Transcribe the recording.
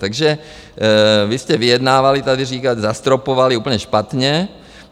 Takže vy jste vyjednávali, tady říkáte, zastropovali, úplně špatně.